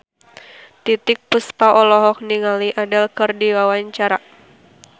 Titiek Puspa olohok ningali Adele keur diwawancara